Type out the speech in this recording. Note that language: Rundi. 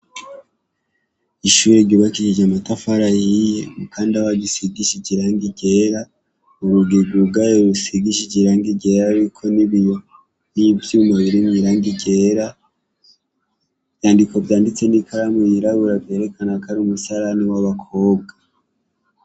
Ishuri ryubakishije amatafari ahiye kumukanda waryo usigishije irangi ryera ubugegu bwayo busigishije irangi ryera hariko n'ibiyo n'ivyyuma biri mwirangi ryera, ivyandiko vyanditse n'ikaramu yirabura vyerekana kari umusarani w'abakobwa.